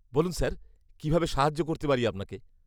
-বলুন স্যার, কীভাবে সাহায্য করতে পারি আপনাকে?